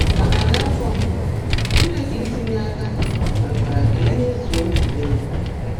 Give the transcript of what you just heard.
Na narị afọ mbụ, Chineke itinye aka mekwara ka e mezuo nzube ya.